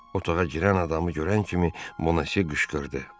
Otağa girən adamı görən kimi Bonasyö qışqırdı.